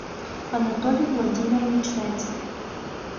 анатолий владимирович зайцев